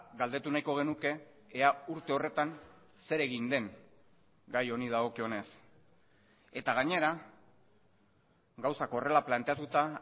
galdetu nahiko genuke ea urte horretan zer egin den gai honi dagokionez eta gainera gauzak horrela planteatuta